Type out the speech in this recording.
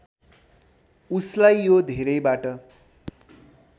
उसलाई यो धेरैबाट